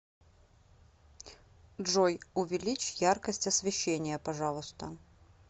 джой увеличь яркость освещения пожалуйста